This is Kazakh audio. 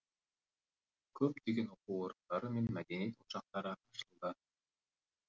көптеген оқу орындары мен мәдениет ошақтары ашылды